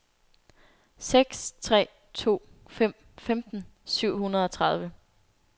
seks tre to fem femten syv hundrede og tredive